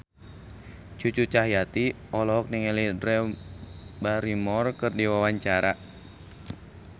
Cucu Cahyati olohok ningali Drew Barrymore keur diwawancara